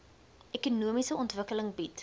ekonomiese ontwikkeling bied